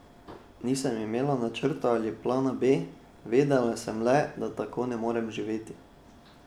Nisem imela načrta ali plana B, vedela sem le, da tako ne morem živeti.